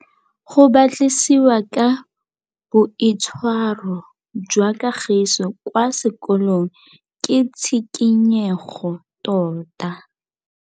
Go batlisisa ka boitshwaro jwa Kagiso kwa sekolong ke tshikinyêgô tota.